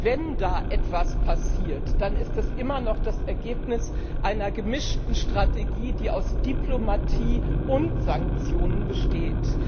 wenn da etwas passiert, dann ist es immer noch das Ergebnis einer gemischten Strategie, die aus Diplomatie und Sanktionen besteht.